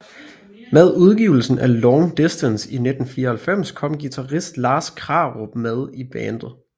Med udgivelsen af Long Distance i 1994 kom guitarist Lars Krarup med i bandet